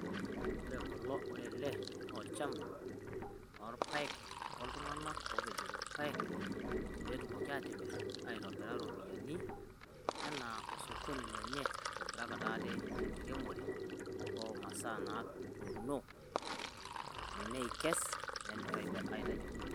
ore ele naa orchampa, loorpaek, oltunganak oopejito rpaek, pee etumoki aatimir aitobira ropiyiani, anaa osokoni lenye, oitobirakita ate, tenkiremore omasaa naatuuno. neikes aitayunye ropiyiani.